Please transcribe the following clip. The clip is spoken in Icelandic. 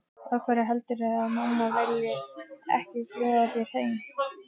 Af hverju heldurðu að mamma vilji ekki bjóða þér heim?